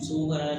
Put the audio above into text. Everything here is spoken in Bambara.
Segu baara